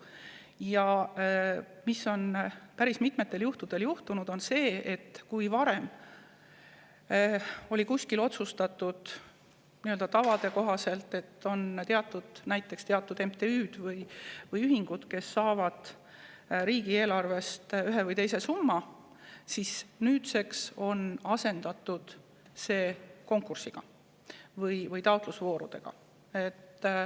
Ja päris mitmetel juhtudel on olnud nii, et varem otsustatud tavade kohaselt on näiteks teatud MTÜ-d või ühingud saanud riigieelarvest ühe või teise summa, aga nüüdseks on asemele tulnud konkursid või taotlusvoorud.